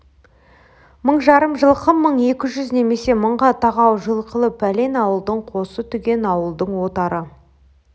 мың жарым жылқы мың екі жүз немесе мыңға тақау жылқылы пәлен ауылдың қосы түген ауылдың отары